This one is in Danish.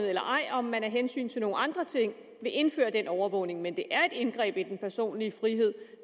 eller ej og om man af hensyn til nogle andre ting vil indføre den overvågning men det er et indgreb i den personlige frihed